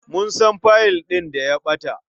Mun san fayil ɗin da ya ɓata.